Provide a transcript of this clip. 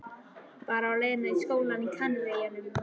Bara á leið í sólina á Kanaríeyjum.